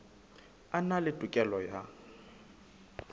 a na le tokelo ya